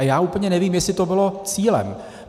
A já úplně nevím, jestli to bylo cílem.